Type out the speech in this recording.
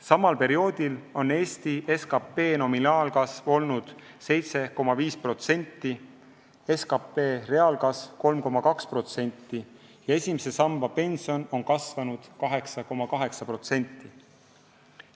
Samal perioodil on Eesti SKP nominaalkasv olnud 7,5%, SKP reaalkasv on olnud 3,2% ja esimese samba pension on kasvanud 8,8%.